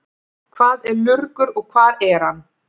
Hvað er lurgur og hvar er hann?